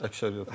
Əksəriyyət.